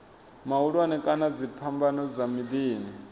mahulwane kana dziphambano dza miḓini